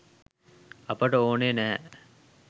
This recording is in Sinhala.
අපට ඕන නැහැ.